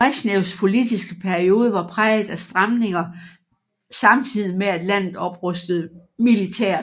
Bresjnevs politiske periode var præget af stramninger samtidig med at landet oprustede militært